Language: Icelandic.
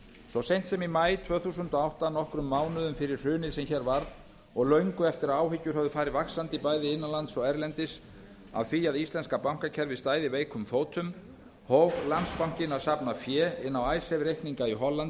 svo seint sem í maí tvö þúsund og átta nokkrum mánuðum fyrir hrunið sem hér varð og löngu eftir að áhyggjur höfðu farið vaxandi bæði innanlands og erlendis af því að íslenska bankakerfið stæði veikum fótum hóf landsbankinn að safna fé inn á reikninga í